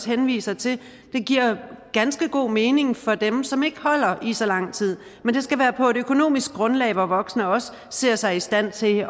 henvise til det giver ganske god mening for dem som ikke holder i så lang tid men det skal være på et økonomisk grundlag hvor voksne også ser sig i stand til